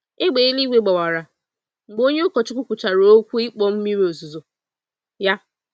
Égbè eluigwe gbawara mgbe onye ụkọchukwu kwuchara okwu ịkpọ mmiri ozuzo ya.